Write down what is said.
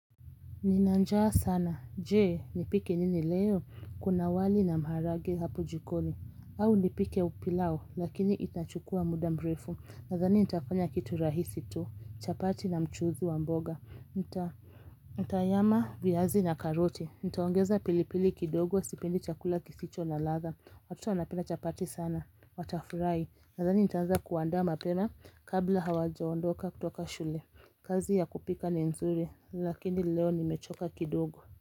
Ninanjaa sana, jee, nipike nini leo, kuna wali na maharage hapo jikoni, au nipike upilau, lakini itachukua muda mrefu, nadhani nitafanya kitu rahisi tu, chapati na mchuzi wa mboga, nita Ntanyama viyazi na karote, nitaongeza pilipili kidogo sipendi chakula kisicho na ladha, watoto wanapenda chapati sana, watafurahi, nadhani nitaanza kuandaa mapema kabla hawajaondoka kutoka shule, kazi ya kupika ni nzuri, lakini leo nimechoka kidogo.